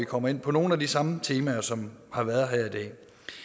kommer ind på nogle af de samme temaer som har været her i dag